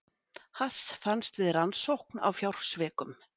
Hass fannst við rannsókn á fjársvikum